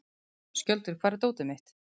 Skjöldur, hvar er dótið mitt?